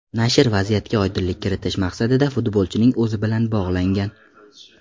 Nashr vaziyatga oydinlik kiritish maqsadida futbolchining o‘zi bilan bog‘langan.